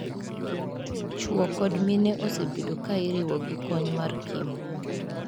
Chuo kod mine osebedo kairiwo gi kony mar Kim.